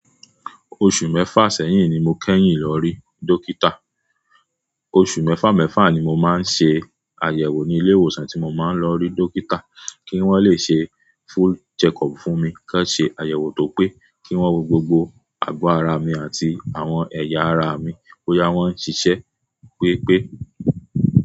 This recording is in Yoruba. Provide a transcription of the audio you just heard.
Oṣù mẹ́fà sẹ́yìn ni mo kẹ́yìn lọ rí dókítà. Oṣù mẹ́fà mẹ́fà ni mo máa ń ṣe àyẹ̀wò ní ilé ìwòsàn tí mo máa ń lọ rí dókítà kí wọ́n le ṣe full checkup fún mi. Kí wón ṣe àyẹ̀wò tó pé, kí wọ́n wo gbogbo àgọ́ ara mi àti àwọn ẹ̀yà ara mi. bÓyá wọn ń ṣiṣẹ́ pé pé.